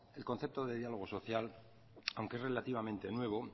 el concepto de diálogo social aunque es relativamente nuevo